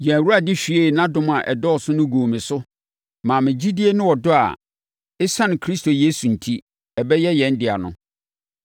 Yɛn Awurade hwiee nʼadom a ɛdɔɔso no guu me so maa me gyidie ne ɔdɔ a ɛsiane Kristo Yesu enti, abɛyɛ yɛn dea no.